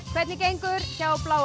hvernig gengur hjá bláa